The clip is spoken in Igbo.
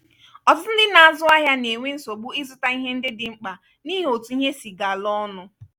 ọtụtụ ndị na-azụ ahịa na-enwe nsogbu ịzụta ihe ndị dị mkpa n'ihi otu ihe si gala ọnụ.